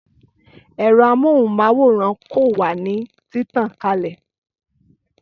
Ẹ̀rọ amóhùn máwòrán ko wà ní títàn kalè